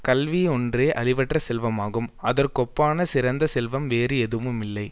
கல்வி ஒன்றே அழிவற்ற செல்வமாகும் அதற்கொப்பான சிறந்த செல்வம் வேறு எதுவும் இல்லை